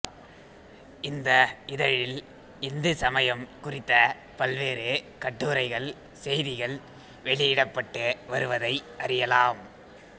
இந்த இதழில் இந்து சமயம் குறித்த பல்வேறு கட்டுரைகள்செய்திகள் வெளியிடப்பட்டு வருவதை அறியலாம்